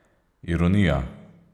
Ironija?